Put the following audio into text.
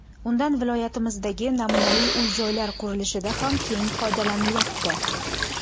Undan viloyatimizdagi namunali uy-joylar qurilishida ham keng foydalanilyapti.